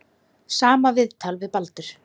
Sama viðtal við Baldur.